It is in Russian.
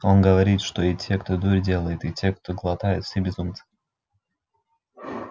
он говорит что и те кто дурь делает и те кто глотает все безумцы